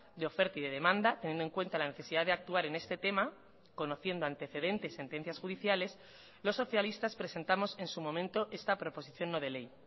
de oferta y de demanda teniendo en cuenta la necesidad de actuar en este tema conociendo antecedentes sentencias judiciales los socialistas presentamos en su momento esta proposición no de ley